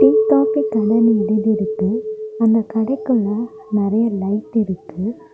Tea coffee கடைன்னு எழுதிருக்கு அந்த கடைக்குள்ள நெறைய லைட் இருக்கு.